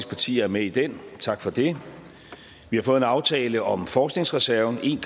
partier er med i den tak for det vi har fået en aftale om forskningsreserven en